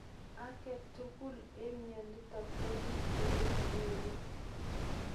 Ag'etugul eng' mionitok ko pee ole kinyoru